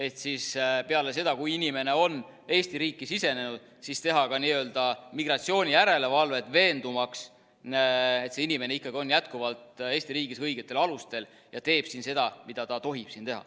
Ehk siis peale seda, kui inimene on Eesti riiki sisenenud, siis teha ka n-ö migratsioonijärelevalvet, veendumaks, et see inimene ikkagi on jätkuvalt Eesti riigis õigetel alustel ja teeb siin seda, mida ta tohib siin teha.